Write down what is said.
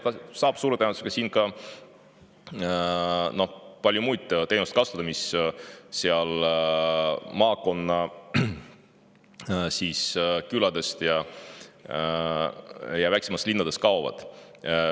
Ta saab suure tõenäosusega kasutada siin ka paljusid muid teenuseid, mis küladest ja väiksematest linnadest kaovad.